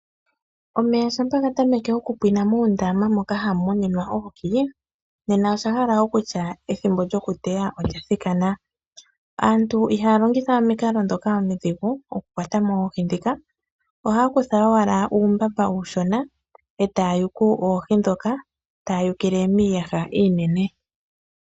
Omeya shampa gatameke okupwiina muundama moka hamu muninwa oohi, nena oshahala okutya ethimbo lyokuteya olyathikana. Aantu ihayalongitha we omikalo dhoka omidhigu okukwata mo oohi dhika, ohaya kutha owala uumbamba uushona etaya yugu oohi dhoka, taya yugile miiyaha iinene.